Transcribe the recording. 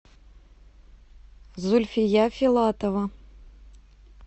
зульфия филатова